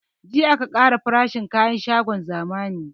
Jiya aka ƙara farashin kayan shagon zamani